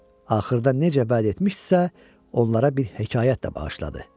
Axırda necə bəd etmişdisə, onlara bir hekayət də bağışladı.